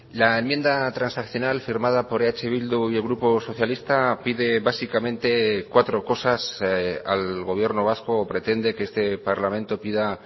la enmienda transaccional firmada por eh bildu y el grupo socialista pide básicamente cuatro cosas al gobierno vasco o pretende que este parlamento pida